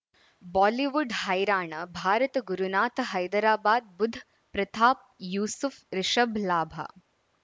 Bollywood ಹೈರಾಣ ಭಾರತ ಗುರುನಾಥ ಹೈದರಾಬಾದ್ ಬುಧ್ ಪ್ರತಾಪ್ ಯೂಸುಫ್ ರಿಷಬ್ ಲಾಭ